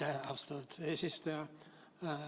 Aitäh, austatud eesistuja!